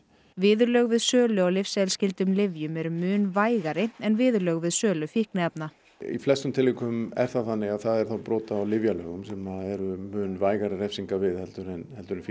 viðurlög við sölu á lyfseðilsskyldum lyfjum eru mun vægari en viðurlög við sölu fíkniefna í flestum tilvikum er það þannig að það er þá brot á lyfjalögum sem eru mun vægari refsingar við heldur en heldur en